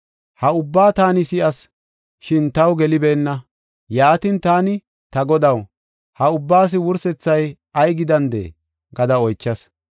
Ha ubba taani si7as, shin taw gelibeenna. Yaatin, taani, “Ta Godaw, ha ubbaas wursethay ay gidandee?” gada oychas.